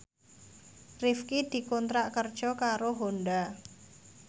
Rifqi dikontrak kerja karo Honda